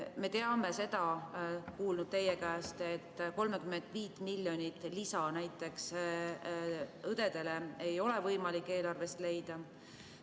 Me oleme kuulnud teie käest, et 35 miljonit eurot lisaraha näiteks õdedele ei ole võimalik eelarvest leida.